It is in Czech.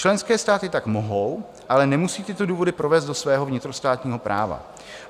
Členské státy tak mohou, ale nemusí tyto důvody provést do svého vnitrostátního práva.